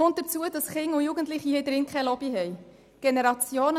Hinzu kommt, dass Kinder und Jugendliche keine Lobby in diesem Saal haben.